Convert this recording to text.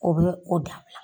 O bɛ o da